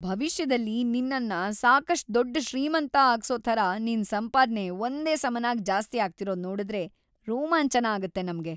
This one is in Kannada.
ಭವಿಷ್ಯದಲ್ಲಿ ನಿನ್ನನ್ನ ಸಾಕಷ್ಟ್‌ ದೊಡ್ಡ್ ಶ್ರೀಮಂತ ಆಗ್ಸೋ ಥರ ನಿನ್ ಸಂಪಾದ್ನೆ ಒಂದೇ ಸಮನಾಗ್ ಜಾಸ್ತಿ ಆಗ್ತಿರೋದ್‌ ನೋಡುದ್ರೆ ರೋಮಾಂಚನ ಆಗತ್ತೆ ನಮ್ಗೆ.